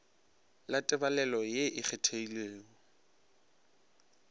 la tebalelo ye e kgethegilego